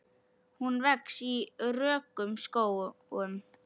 Hún vex í rökum skógum.